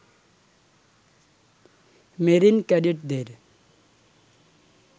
marine ক্যাডেটদের